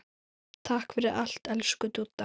Takk fyrir allt, elsku Dúdda.